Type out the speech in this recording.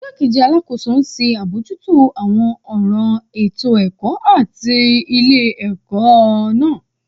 Igbakeji Alakoso nṣe abojuto awọn ọran eto-ẹkọ ti ile-ẹkọ naa